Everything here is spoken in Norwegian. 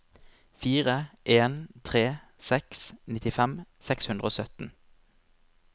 fire en tre seks nittifem seks hundre og sytten